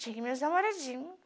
Tinha meus namoradinho.